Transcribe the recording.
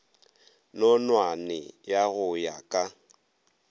nonwane ya go ya ka